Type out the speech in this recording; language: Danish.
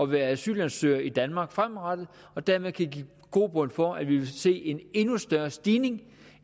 være asylansøger i danmark fremadrettet og dermed kan give grobund for at vi vil se en endnu større stigning